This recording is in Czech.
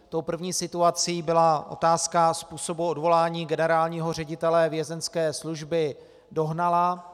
Tou první situací byla otázka způsobu odvolání generálního ředitele Vězeňské služby Dohnala.